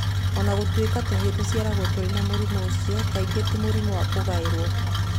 O na gũtuĩka tũhĩĩ tũciaragwo tũrĩ na mũrimũ ũcio, kaingĩ ti mũrimũ wa kũgaĩrũo.